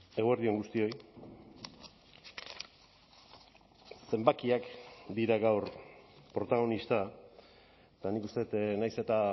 eguerdi on guztioi zenbakiak dira gaur protagonista eta nik uste dut nahiz eta